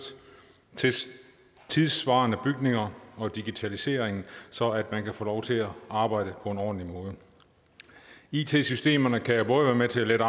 tidssvarende bygninger og digitalisering så man kan få lov til at arbejde på en ordentlig måde it systemerne kan både være med til at